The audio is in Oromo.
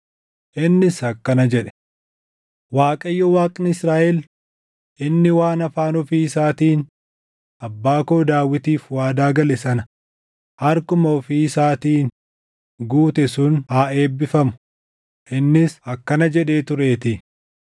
Innis akkana jedhe: “ Waaqayyo Waaqni Israaʼel inni waan afaan ofii isaatiin abbaa koo Daawitiif waadaa gale sana harkuma ofii isaatiin guute sun haa eebbifamu. Innis akkana jedhee tureetii;